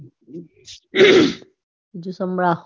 બીજું સંભળાવો